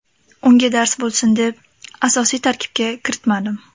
Unga dars bo‘lsin deb, asosiy tarkibga kiritmadim.